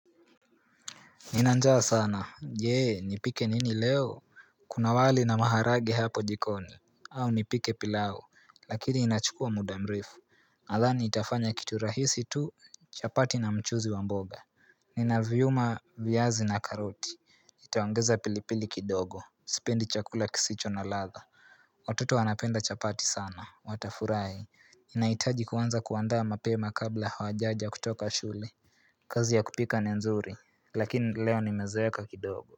Nina njaa sana. Je, nipike nini leo? Kuna wali na maharage hapo jikoni. Au nipike pilau, lakini inachukua muda mrefu nadhani nitafanya kitu rahisi tu, chapati na mchuzi wa mboga Nina vyuma, viazi na karoti nitaongeza pilipili kidogo, sipendi chakula kisicho na ladha Watoto wanapenda chapati sana, watafurahi. Inahitaji kuanza kuandaa mapema kabla hawajaja kutoka shule kazi ya kupika ni nzuri lakini leo nimezeeka kidogo.